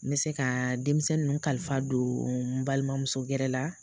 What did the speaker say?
N bɛ se kaa denmisɛn nun kalifa don n balimamuso gɛrɛ la.